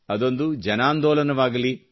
ಅದೊಂದು ಜನಾಂದೋಲನವಾಗಲಿ